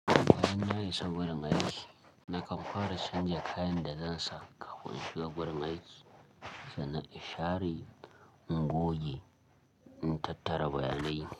Idan na isa gurin aiki, na kamfara canja kayan da zan sa kafin in shiga gurin aiki sannan in share, in goge, in tattara bayanai.